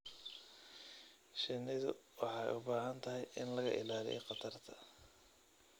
Shinnidu waxay u baahan tahay in laga ilaaliyo khatarta.